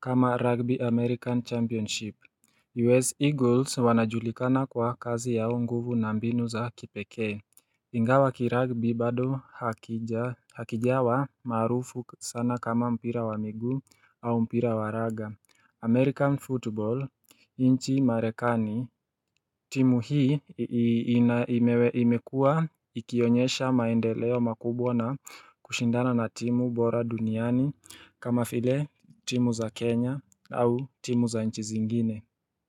kama rugby american championship. U.S. Eagles wanajulikana kwa kazi yao nguvu na mbinu za kipekee. Ingawa kiragbi bado hakijawa maarufu sana kama mpira wa miguu au mpira wa raga American football inchi marekani timu hii imekua ikionyesha maendeleo makubwa na kushindana na timu bora duniani kama file timu za Kenya au timu za nchi zingine.